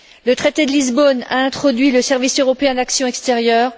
Le traité de Lisbonne a introduit le service européen d'action extérieure.